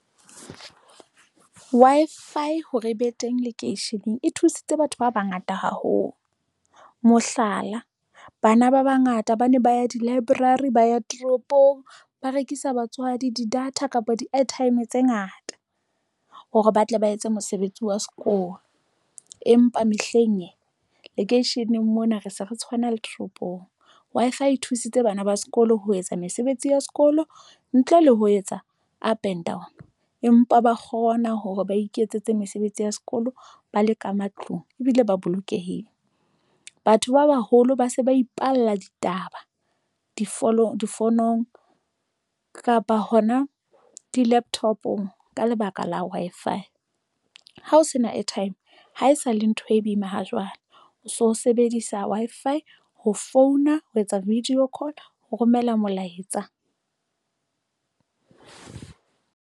Wi-Fi hore e be teng lekeisheneng, e thusitse batho ba bangata haholo, mohlala bana ba bangata ba ne ba ya di-library ba ya toropong, ba rekisa batswadi di-data kapa di airtime tse ngata hore ba tle ba etse mosebetsi wa sekolo empa mehleng e lekeisheneng mona re se re tshwana le toropong. Wi-fi e thusitse bana ba sekolo ho etsa mesebetsi ya sekolo ntle le ho etsa a Penton, empa ba kgona hore ba iketsetse mesebetsi ya sekolo ba le ka matlung ebile ba bolokehile. Batho ba baholo ba se ba ipalla ditaba difonofonong kapa hona di-laptop-ong ka lebaka la Wi-Fi Ha ho sena airtime haesale ntho e boima ha jwale o so sebedisa Wi-Fi ho founa ho etsa video call ho romela molaetsa.